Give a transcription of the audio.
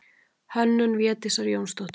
Hönnun Védísar Jónsdóttur.